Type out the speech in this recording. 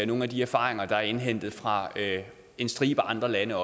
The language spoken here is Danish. nogle af de erfaringer der også er indhentet fra en stribe andre lande